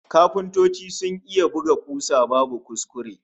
Kafintoci sun iya buga kusa babu kuskure!